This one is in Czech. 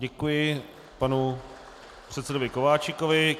Děkuji panu předsedovi Kováčikovi.